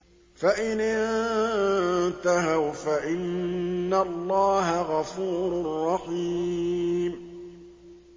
فَإِنِ انتَهَوْا فَإِنَّ اللَّهَ غَفُورٌ رَّحِيمٌ